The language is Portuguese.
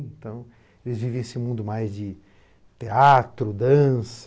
Então eles vivia esse mundo mais de teatro, dança.